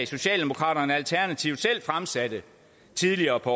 socialdemokraterne og alternativet selv fremsatte tidligere på